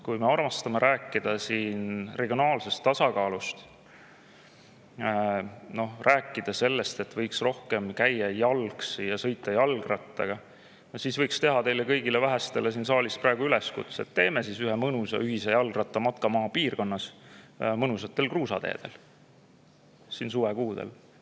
Kui me armastame rääkida siin regionaalsest tasakaalust, rääkida sellest, et võiks rohkem käia jalgsi ja sõita jalgrattaga, siis võiks teha teile kõigile vähestele siin saalis praegu üleskutse: teeme siis suvekuudel ühe mõnusa ühise jalgrattamatka maapiirkonnas mõnusatel kruusateedel!